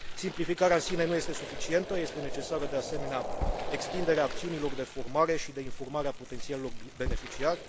Simplificarea în sine nu este suficientă, este necesară de asemenea extinderea acțiunilor de formare și de informare a potențialilor beneficiari.